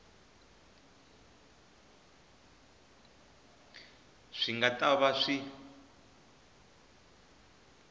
swi nga ta va swi